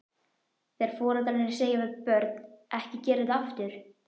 Þegar foreldrar segja við börn, ekki gera þetta aftur?